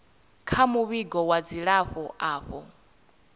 kha muvhigo wa dzilafho avho